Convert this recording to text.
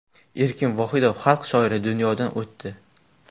Erkin Vohidov, Xalq shoiri, dunyodan o‘tdi.